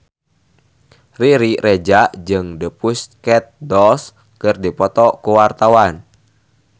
Riri Reza jeung The Pussycat Dolls keur dipoto ku wartawan